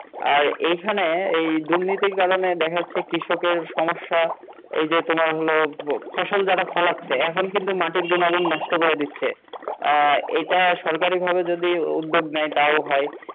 আর এই খানে এই দুর্নীতির কারনে দেখা যাচ্ছে কৃষকের সমস্যা এই যে তোমার হলো ফসল যারা ফলাচ্ছে এখন কিন্তু মাটির গুনগুন নষ্ট করে দিচ্ছে আহ এটা সরকারী ভাবে যদি উদ্যেগ নেয় তাও হয়